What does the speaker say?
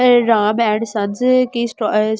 Ram and sons कि सटो अ कि दुकान हैं ।